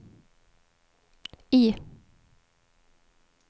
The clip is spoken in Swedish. I